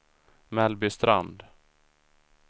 Mellbystrand